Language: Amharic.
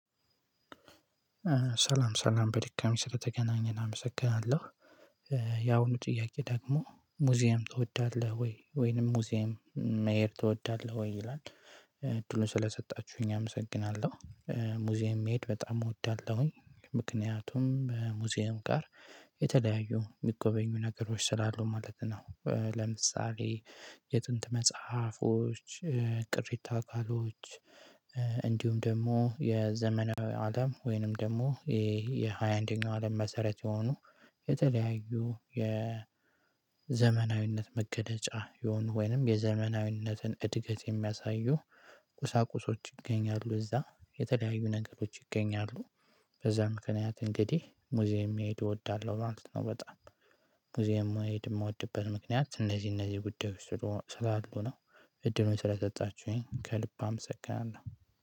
ሰላም ሰላም በድጋሚ ስለተገናኘን አመሰግናለሁ። ያሁኑ ጥያቄ ደግሞ ሙዚየም ትወዳለህ ወይ ወይንም ሙዚየም መሄድ ትወዳለህ ወይ ይላል? ዕድሉን ስለሰጣችሁኝ አመሰግናለሁ። ሙዚየም መሄድ በጣም እወዳለሁኝ። ምክንያቱም ሙዚየም ጋር የተለያዩ የሚጎበኙ ነገሮች ስላሉ ማለት ነው። ለምሳሌ የጥንት መጽሐፎች ቅሪታ አካሎች። እንዲሁም ደግሞ የዘመናዊ አለም ወይንም ደግሞ ይሄ የሃያ አንደኛው አለም መሰረት የሆኑ የተለያዩ የዘመናዊነት መገለጫ የሆኑ ወይንም የዘመናዊነትን እድገት የሚያሳዩ ቁሳቁሶች ይገኛሉ እዛ የተለያዩ ነገሮች ይገኛሉ። በዛ ምክንያት እንግዲህ ሙዚየም መሄድ እወዳለሁ ማለትነው። በጣም ሙዚየም የሚሄድ የምወድበት ምክንያት እነዚህ እነዚህ ጉዳዮች ስላሉ ነው። እድሉን ስለሰጣችሁኝ ከልብ አመሰግናለሁ።